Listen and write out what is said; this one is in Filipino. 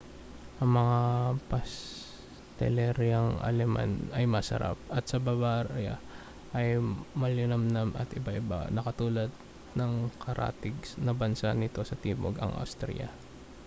ang mga pasteleryang aleman ay masarap at sa bavaria ay malinamnam at iba-iba na katulad ng sa karatig na bansa nito sa timog ang austria